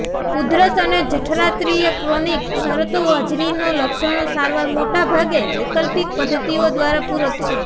ઉધરસ અને જઠરાંત્રિય ક્રોનિક શરતો હોજરીનો લક્ષણો સારવાર મોટા ભાગે વૈકલ્પિક પદ્ધતિઓ દ્વારા પૂરક છે